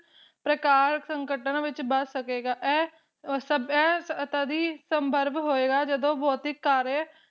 ਪ੍ਰਕਾਰ ਸੰਕਟਾਂ ਵਿਚ ਬਚਾ ਸਕੇਗਾ ਇਹ ਇਹ ਤਦ ਹੀ ਸੰਭਰਵ ਹੋਏਗਾ ਜਦੋ ਭੌਤਿਕ ਕਾਰਯਾ